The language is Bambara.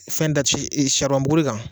Fɛn da ci saribɔn bukuri kan.